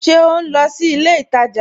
Ṣe o nlọ sí ilẹ̀ ìtaja?